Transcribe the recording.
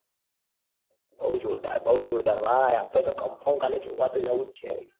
બૌ જોરદાર બઉ જોરદાર ભાઈ. ભાઈ આપડે તો confirm કાલે તો જોવા તો જાઉં છે.